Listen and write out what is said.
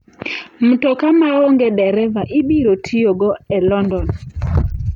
Mtoka maongee dereva ibiro tiyogo e London